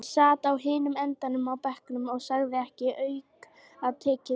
Hann sat á hinum endanum á bekknum og sagði ekki aukatekið orð.